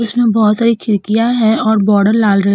इसमें बहोत सारी खिडकियां हैं और बॉर्डर लाल र --